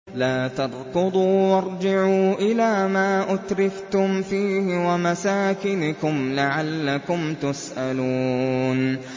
لَا تَرْكُضُوا وَارْجِعُوا إِلَىٰ مَا أُتْرِفْتُمْ فِيهِ وَمَسَاكِنِكُمْ لَعَلَّكُمْ تُسْأَلُونَ